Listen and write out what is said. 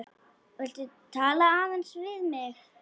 Viltu tala aðeins við mig.